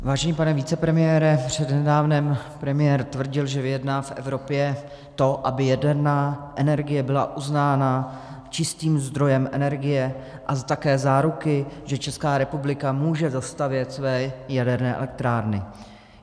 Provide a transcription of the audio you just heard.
Vážený pane vicepremiére, přednedávnem premiér tvrdil, že vyjedná v Evropě to, aby jaderná energie byla uznána čistým zdrojem energie, a také záruky, že Česká republika může dostavět své jaderné elektrárny.